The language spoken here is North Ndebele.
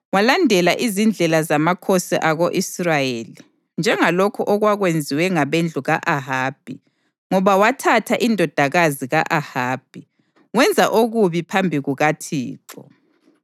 Walandela izindlela zamakhosi ako-Israyeli, njengalokho okwakwenziwe ngabendlu ka-Ahabi, ngoba wathatha indodakazi ka-Ahabi. Wenza okubi phambi kukaThixo.